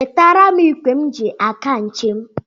Wetere m ịgwe m ji aga njem.